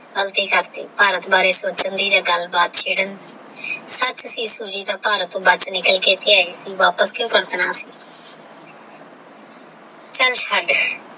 ਗਲਤੀ ਕਰਤੀ ਭਾਰਤ ਬਾਰੇ ਸੋਚਣ ਦੀ ਜੇ ਗੱਲ ਬਾਤ ਛੇਦਨ ਦੀ ਸਚ ਸੀ ਭਾਰਤ ਟੋਹ ਨਿਕਲ ਕੇ ਆਇਤੇ ਏ ਸੀ ਵਾਪਸ ਕੁ ਭਜਨਾ